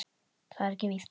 Það er ekki víst.